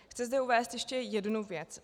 Chci zde uvést ještě jednu věc.